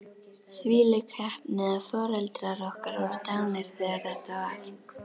Þvílík heppni að foreldrar okkar voru dánir þegar þetta var.